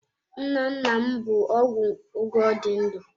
Nnanna m bụ ọgwụ oge ọ dị ndụ.